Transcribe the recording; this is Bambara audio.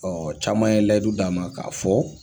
Ɔ caman ye layidu d'an ma k'a fɔ